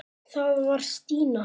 Það var Stína.